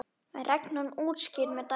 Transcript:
er reglan útskýrð með dæmi